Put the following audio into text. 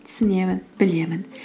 түсінемін білемін